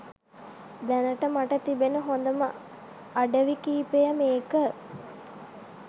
දැනට මට තිබෙන හොඳම අඩවි කීපය මේක.